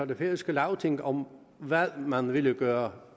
det færøske lagting om hvad man ville gøre